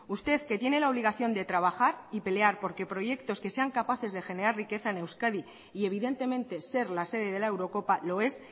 usted que tiene la obligación de trabajar y pelear porque proyectos que sean capaces de generar riqueza en euskadi y evidentemente ser la sede de la eurocopa lo es